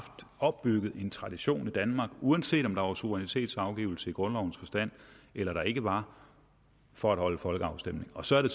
opbygget en tradition i danmark uanset om der var suverænitetsafgivelse i grundlovens forstand eller der ikke var for at holde folkeafstemning og så er det